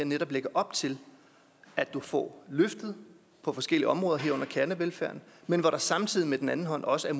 netop lægger op til at du får løftet på forskellige områder herunder kernevelfærden men hvor der samtidig med den anden hånd også er